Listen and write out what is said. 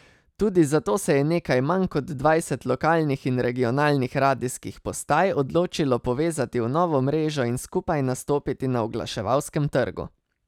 Tudi zato se je nekaj manj kot dvajset lokalnih in regionalnih radijskih postaj odločilo povezati v novo mrežo in skupaj nastopiti na oglaševalskem trgu.